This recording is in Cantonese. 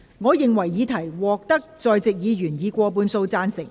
我認為議題獲得在席議員以過半數贊成。